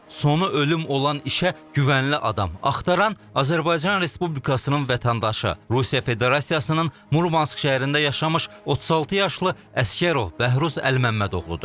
Sonu ölüm olan işə güvənli adam axtaran Azərbaycan Respublikasının vətəndaşı, Rusiya Federasiyasının Murmansk şəhərində yaşamış 36 yaşlı Əsgərov Bəhruz Əlməmməd oğludur.